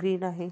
Green आहे.